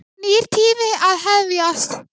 Nýr tími að hefjast.